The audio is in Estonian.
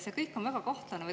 See kõik on väga kahtlane.